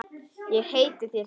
Ég heiti þér því.